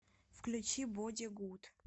включи боди гуд